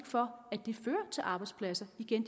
for fører til arbejdspladser igen